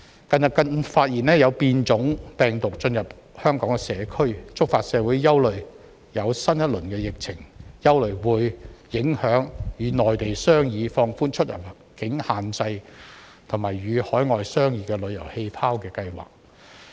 近日更發現有變種病毒進入香港社區，觸發社會憂慮新一輪疫情會否影響與內地商議放寬出入境限制，以及與海外商議旅遊氣泡的計劃。